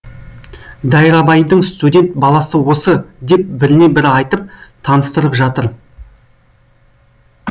дайрабайдың студент баласы осы деп біріне бірі айтып таныстырып жатыр